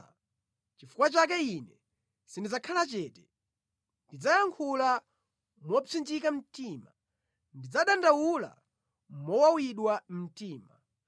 “Nʼchifukwa chake ine sindidzakhala chete; ndidzayankhula mopsinjika mtima, ndidzadandaula mowawidwa mtima.